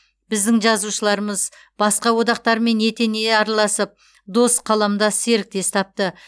біздің жазушыларымыз басқа одақтармен етене араласып дос қаламдас серіктес тапты